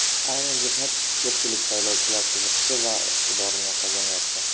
Ayni jihat ko‘pchilik saylovchilar qiziqishi va e’tiborini qozonyapti.